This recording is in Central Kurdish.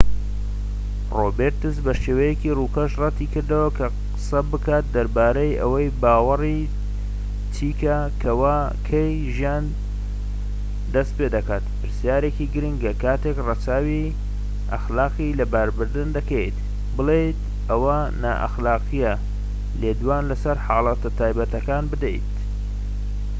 ڕۆبێرتس بە شێوەیەکی ڕووکەش ڕەتی کردەوە کە قسە بکات دەربارەی ئەوەی باوەڕی چیکە کەوا کەی ژیان دەست پێدەکات پرسیارێکی گرنگە کاتێک ڕەچاوی ئەخلاقی لەباربردن دەکەیت بڵێیت ئەوە نائەخلاقییە لێدوان لەسەر حاڵەتە تایبەتەکان بدەیت